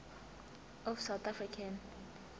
of south african